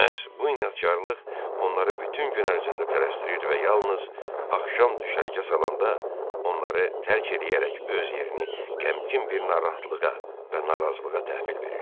Məhz bu inadkarlıq onları bütün gün ərzində tələsdirir və yalnız axşam düşərgə salanda onları tərk eləyərək öz yerini qəmgin bir narahatlığa və narazılığa təhvil verirdi.